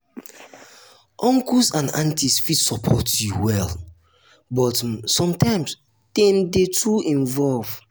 uncles and aunties fit support you well but um sometimes dem dey too involved.